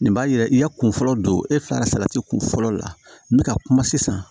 Nin b'a yira i ya kun fɔlɔ don e fila ka salati kunfɔlɔ la n bɛ ka kuma sisan